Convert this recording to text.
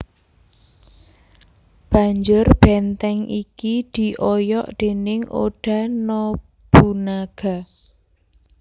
Banjur benteng iki dioyok déning Oda Nobunaga